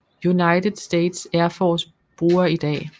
United States Air Force bruger i dag